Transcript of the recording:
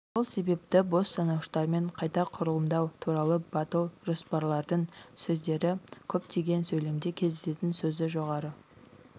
сол себепті бос санауыштармен қайта құрылымдау туралы батыл жоспарлардың сөздері көп деген сөйлемде кездесетін сөзі жоғарғы